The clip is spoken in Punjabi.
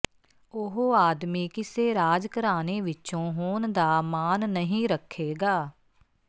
ਉਹ ਆਦਮੀ ਕਿਸੇ ਰਾਜ ਘਰਾਣੇ ਵਿੱਚੋਂ ਹੋਣ ਦਾ ਮਾਣ ਨਹੀਂ ਰੱਖੇਗਾ